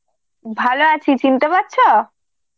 ভালো আছি, চিনতে পারছো?